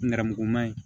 Nɛrɛmuguman ye